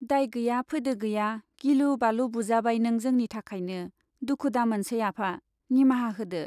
दाय गैया फोदो गैया गिलु बालु बुजाबाय नों जोंनि थाखायनो दुखु दामोनसै आफा, निमाहा होदो।